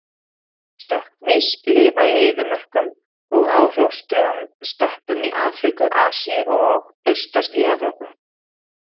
Stökkmýs lifa í eyðimörkum og á hrjóstrugum steppum í Afríku, Asíu og austast í Evrópu.